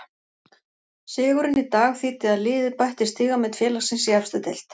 Sigurinn í dag þýddi að liðið bætti stigamet félagsins í efstu deild.